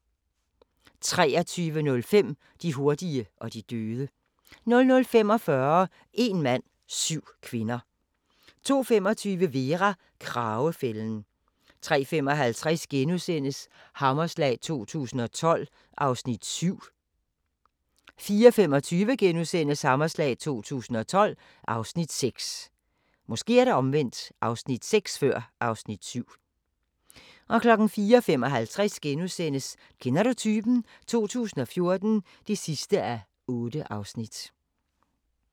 23:05: De hurtige og de døde 00:45: Een mand – syv kvinder 02:25: Vera: Kragefælden 03:55: Hammerslag 2012 (Afs. 7)* 04:25: Hammerslag 2012 (Afs. 6)* 04:55: Kender du typen? 2014 (8:8)*